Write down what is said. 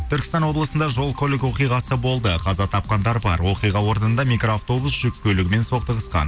түркістан облысында жол көлік оқиғасы болды қаза тапқандар бар оқиға орнында микроавтобус жүк көлігімен соқтығысқан